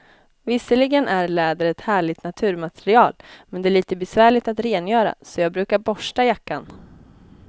Visserligen är läder ett härligt naturmaterial, men det är lite besvärligt att rengöra, så jag brukar borsta jackan.